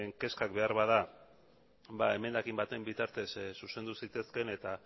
kezkak beharbada emendakin baten bitartez zuzendu zitezkeen eta